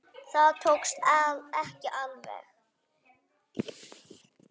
Það tókst ekki alveg.